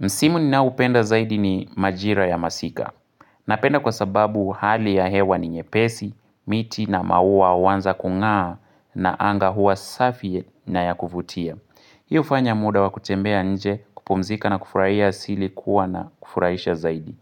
Msimu ninaoupenda zaidi ni majira ya masika. Napenda kwa sababu hali ya hewa ni nyepesi, miti na maua huanza kung'aa, na anga huwa safi na ya kuvutia. Hi hufanya muda wa kutembea nje, kupumzika na kufurahia asili kuwa na kufurahisha zaidi.